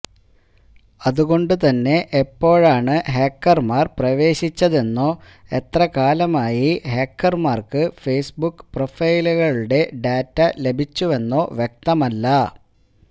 അതുകൊണ്ട് തന്നെ എപ്പോഴാണ് ഹാക്കര്മാര് പ്രവേശിച്ചതെന്നോ എത്ര കാലമായി ഹാക്കര്മാര്ക്ക് ഫേസ്ബുക്ക് പ്രൊഫൈലുകളുടെ ഡാറ്റ ലഭിച്ചുവെന്നോ വ്യക്തമല്ല